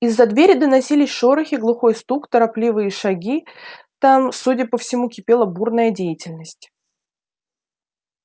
из-за двери доносились шорохи глухой стук торопливые шаги там судя по всему кипела бурная деятельность